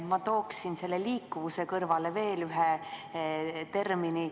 Ma tooksin selle "liikuvuse" kõrvale veel ühe termini.